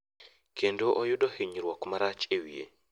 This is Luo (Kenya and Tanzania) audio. kedo oyudo ninyruok marach e wiye.